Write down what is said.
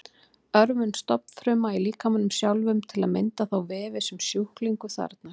Örvun stofnfruma í líkamanum sjálfum til að mynda þá vefi sem sjúklingur þarfnast.